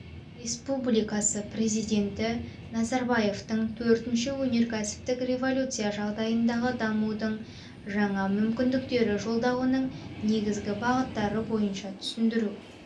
республикасы президенті назарбаевтың төртінші өнеркәсіптік революция жағдайындағы дамудың жаңа мүмкіндіктері жолдауының негізгі бағыттары бойынша түсіндіру